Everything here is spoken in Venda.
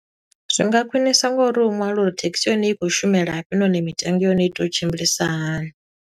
Zwinga khwiṋiswa ngo uri hu ṅwalwe uri thekhisi ya hone i khou shumela fhi, nahone mitengo ya hone i tea u tshimbilisa hani.